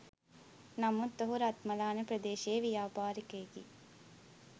නමුත් ඔහු රත්මලාන ප්‍රදේශයේ ව්‍යාපාරිකයෙකි.